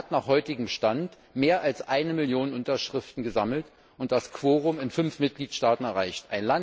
Sie hat nach heutigem Stand mehr als 1 Million Unterschriften gesammelt und das Quorum in fünf Mitgliedstaaten erreicht.